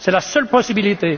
C'est la seule possibilité.